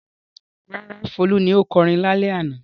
Rárá, Folú ni ó kọrin lálẹ́ àná.